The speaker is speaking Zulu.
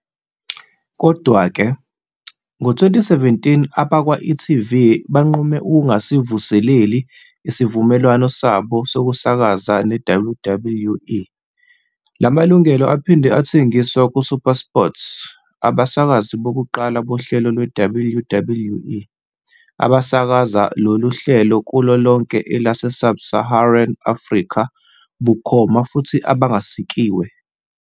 Kodwa-ke, ngo-2017 abakwa-e.tv banqume ukungasivuseleli isivumelwano sabo sokusakaza neWWE. La malungelo aphinde athengiswa kuSuperSport, abasakazi bokuqala bohlelo lweWWE, abasakaza lolu hlelo kulo lonke elase-Sub-Saharan Africa, bukhoma futhi abangasikiwe.